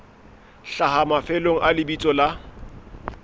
hlaha mafelong a lebitso la